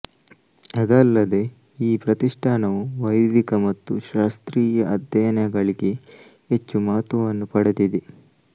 ಅದಲ್ಲದೆ ಈ ಪ್ರತಿಷ್ಠಾನವು ವೈದಿಕ ಮತ್ತು ಶಾಸ್ತ್ರೀಯ ಅಧ್ಯಯನಗಳಿಗೆ ಹೆಚ್ಚು ಮಹತ್ವವನ್ನು ಪಡೆದಿದೆ